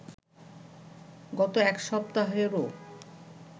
গত এক সপ্তাহেরও